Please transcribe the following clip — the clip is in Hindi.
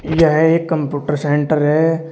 यह एक कंप्यूटर सेंटर है।